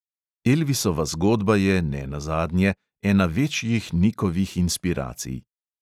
Elvisova zgodba je, nenazadnje, ena večjih nikovih inspiracij.